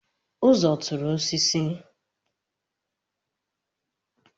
Uzo tụrụ osisi